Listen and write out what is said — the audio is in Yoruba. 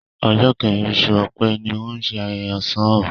Ọ̀jọ̀ kẹrin oṣù Ọ̀pẹ ni wọ́n ṣé ayẹyẹ ṣàn ó